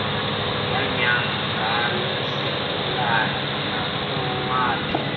yanyango lwesigulana nakowuphi